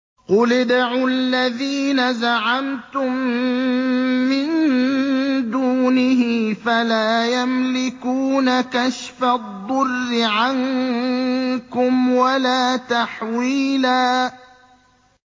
قُلِ ادْعُوا الَّذِينَ زَعَمْتُم مِّن دُونِهِ فَلَا يَمْلِكُونَ كَشْفَ الضُّرِّ عَنكُمْ وَلَا تَحْوِيلًا